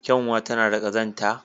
Kyanwa tana da ƙazanta.